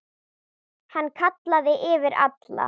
Hann kallaði yfir alla.